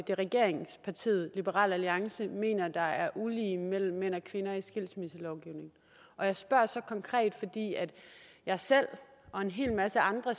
regeringspartiet liberal alliance mener der er ulige mellem mænd og kvinder i skilsmisselovgivningen og jeg spørger så konkret fordi jeg selv og en hel masse andre